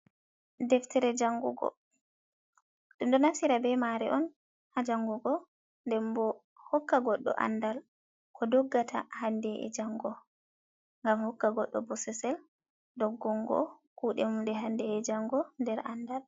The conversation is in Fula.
"Deftere jangungo" ɗum do naftira be mare on ha jangugo den bo hokka goɗɗo andal ko doggata hande’e jango ngam hokka goɗɗo bososel doggungo kuɗe mum nde hande e jango nder andal.